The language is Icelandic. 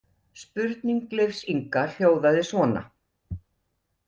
Spurning Leifs Inga hljóðaði svona